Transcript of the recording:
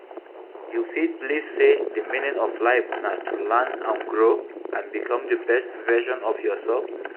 You fit believe say di meaning of life na to learn and grow, and become di best version of yourself.